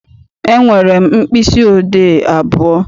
Enwere m mkpịsị odee abụọ.